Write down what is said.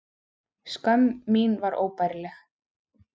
Skömm mín var óbærileg.